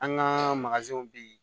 An ka bɛ yen